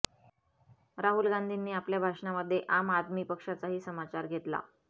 राहुल गांधींनी आपल्या भाषणामध्ये आम आदमी पक्षाचाही समाचार घेतला